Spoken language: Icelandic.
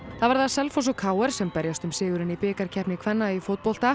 það verða Selfoss og k r sem berjast um sigurinn í bikarkeppni kvenna í fótbolta